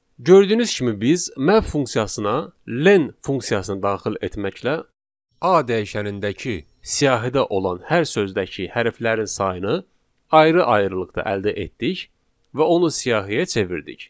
Gördüyünüz kimi biz map funksiyasına len funksiyasını daxil etməklə A dəyişənindəki siyahıda olan hər sözdəki hərflərin sayını ayrı-ayrılıqda əldə etdik və onu siyahıya çevirdik.